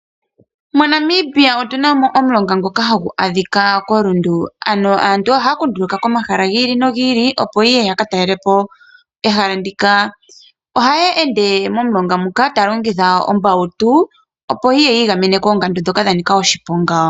MoNamibia otuna mo omulonga ngoka hagu adhika koRundu. Aantu ohaya zi komahala giili nogiili opo yeye yakatalelapo ehala ndika, omulonga ngoka hagu adhika koRundu. Ohaya ende momulonga muka, tayalongitha ombautu opo yiigamene koongandu ndhoka dha nika oshiponga.